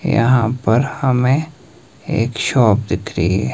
यहां पर हमें एक शॉप दिख रही है।